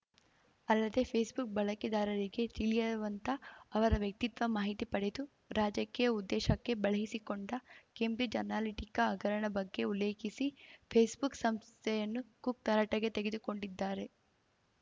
ಅಲ್ಲದೆ ಫೇಸ್‌ಬುಕ್‌ ಬಳಕೆದಾರರಿಗೆ ತಿಳಿಯವಂತ ಅವರ ವ್ಯಕ್ತಿತ್ವ ಮಾಹಿತಿ ಪಡೆದು ರಾಜಕೀಯ ಉದ್ದೇಶಕ್ಕೆ ಬಳಸಿಕೊಂಡ ಕೇಂಬ್ರಿಜ್‌ ಅನಾಲಿಟಿಕಾ ಹಗರಣ ಬಗ್ಗೆ ಉಲ್ಲೇಖಿಸಿ ಫೇಸ್‌ಬುಕ್‌ ಸಂಸ್ಥೆಯನ್ನು ಕುಕ್‌ ತರಾಟೆಗೆ ತೆಗೆದುಕೊಂಡಿದ್ದಾರೆ